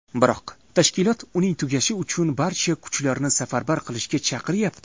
Biroq tashkilot uning tugashi uchun barcha kuchlarni safarbar qilishga chaqiryapti.